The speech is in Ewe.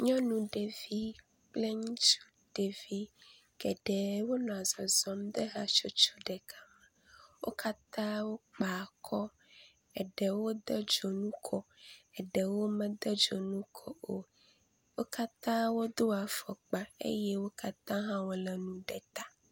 Nyɔnu ɖevi kple ŋutsu ɖevi geɖe wonɔ zɔzɔm ɖe hatsotso ɖeka me. Wo katã wokpa akɔ, eɖewo de dzonu kɔ, eɖewo mede dzonu kɔ o. Wo katã wodo afɔkpa eye wo katã hã wolé nu ɖe ta.